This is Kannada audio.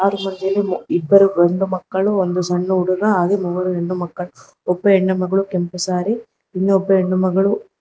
ಇಬ್ಬರು ಗಂಡು ಮಕ್ಕಳು ಒಂದು ಸಣ್ಣ ಹುಡುಗ ಹಾಗೂ ಮೂವರು ಹೆಣ್ಣು ಮಕ್ಕಳು ಒಬ್ಬ ಹೆಣ್ಣು ಮಗಳು ಕೆಂಪು ಸಾರಿ ಇನ್ನೊಬ್ಬ ಹೆಣ್ಣು ಮಗಳು--